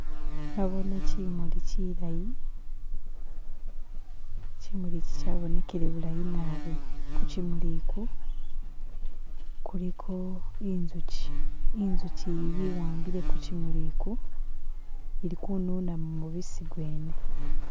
Nabone kimuli chilayi chimuli chi chabonekhele bulayi naabi kuchimuli uku kuliko inzuchi, inzuchi iyi yewambile kuchimuli uku ili kununamu mubisi gwene.